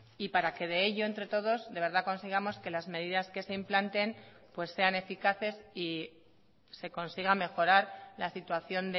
y para que de ello entre todos de verdad consigamos que las medidas que se implanten pues sean eficaces y se consiga mejorar la situación